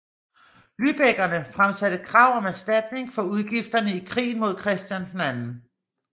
Lübeckerne fremsatte krav om erstatning for udgifterne i krigen mod Christian 2